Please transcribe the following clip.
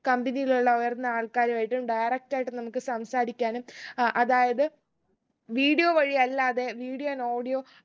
company ൽ ഉള്ള വരുന്ന ആൾക്കാരു ആയിട്ടും direct ആയിട്ട് നമുക്ക് സംസാരിക്കാനും അഹ് അതായത് video വഴി അല്ലാതെ video and audio